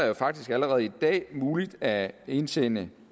jo faktisk allerede i dag muligt at indsende